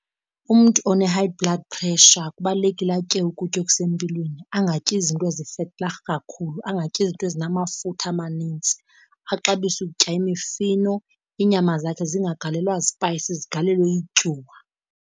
Umntu one-high blood pressure kubalulekile atye ukutya okusempilweni angatyi izinto ezi-vetterig kakhulu, angatyi izinto ezinamafutha amanintsi, axabise ukutya imifino, iinyama zakhe zingagalelwa zipayisizi zigalelwe ityuwa.